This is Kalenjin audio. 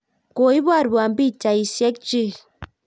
koiboruon pichaisiekchich